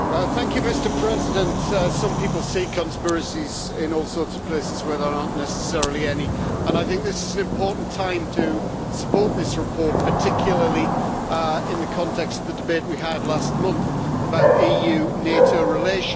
Mr President, some people see conspiracies in all sorts of places where there are not necessarily any, and I think this is an important time to support this report, particularly in the context of the debate we had last month about EU NATO relations.